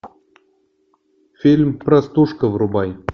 фильм простушка врубай